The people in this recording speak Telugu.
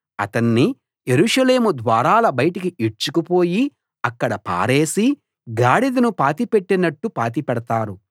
అతణ్ణి యెరూషలేము ద్వారాల బయటికి ఈడ్చుకుపోయి అక్కడ పారేసి గాడిదను పాతిపెట్టినట్టు పాతిపెడతారు